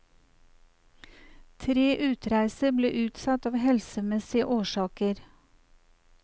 Tre utreiser ble utsatt av helsemessige årsaker.